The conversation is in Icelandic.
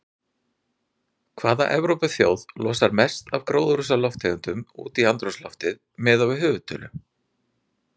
Hvaða Evrópuþjóð losar mest af gróðurhúsalofttegundum út í andrúmsloftið miðað við höfðatölu?